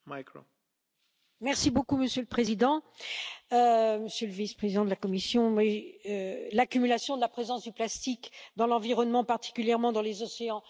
Monsieur le Président, Monsieur le Vice Président de la Commission, l'accumulation de la présence de plastique dans l'environnement, particulièrement dans les océans, est devenue insupportable.